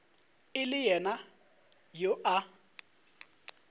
e le yena yo a